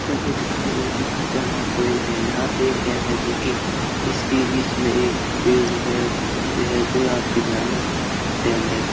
चलिए दिखाइए दिखाते हैं हम आपको एक डैम । यहॉं पे एक डैम है जो की इसके बीच में एक पेड़ है ते है जो आपके भयानक डैम है।